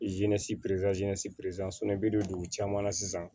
i bɛ don dugu caman na sisan